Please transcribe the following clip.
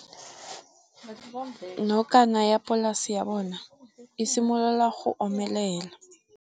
Nokana ya polase ya bona, e simolola go omelela.